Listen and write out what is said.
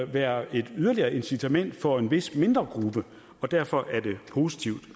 være et yderligere incitament for en vis mindre gruppe og derfor er det positivt